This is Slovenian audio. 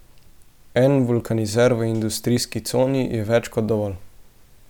En vulkanizer v industrijski coni je več kot dovolj.